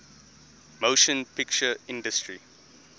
motion picture industry